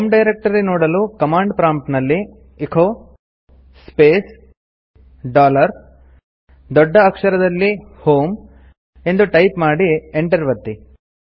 home directory ನೋಡಲು command prompt ನಲ್ಲಿ echo space dollar ದೊಡ್ಡ ಅಕ್ಷರದಲ್ಲಿ h o m ಇ ಎಂದು ಟೈಪ್ ಮಾಡಿ Enter ಒತ್ತಿ